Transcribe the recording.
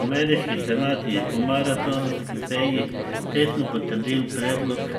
Ameriški senat je po maratonski seji tesno potrdil predlog